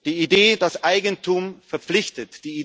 Die Idee, dass Eigentum verpflichtet.